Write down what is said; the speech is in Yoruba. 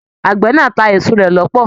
Àgbẹ̀ náà ta a èso rẹ l'ọpọ.